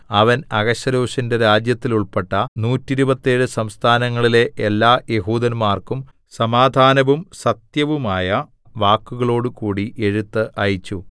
അവൻ അഹശ്വേരോശിന്റെ രാജ്യത്തിലുൾപ്പെട്ട നൂറ്റിരുപത്തേഴ് 127 സംസ്ഥാനങ്ങളിലെ എല്ലാ യെഹൂദന്മാർക്കും സമാധാനവും സത്യവുമായ വാക്കുകളോടുകൂടി എഴുത്ത് അയച്ചു